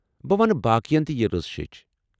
بہٕ ونہٕ باقین یہ رٕژ شیٚچھ۔